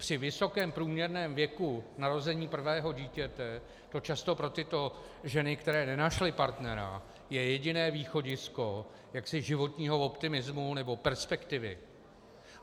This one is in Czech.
Při vysokém průměrném věku narození prvého dítěte to často pro tyto ženy, které nenašly partnera, je jediné východisko jaksi životního optimismu nebo perspektivy.